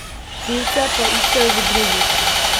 Krivce pa iščejo v drugih.